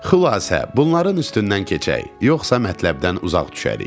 Xülasə, bunların üstündən keçək, yoxsa mətləbdən uzaq düşərik.